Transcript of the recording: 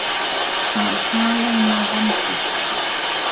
Að kalóna vambir.